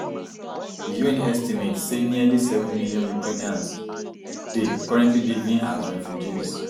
di un estimates saynearly seven million ukrainians dey currently living as refugees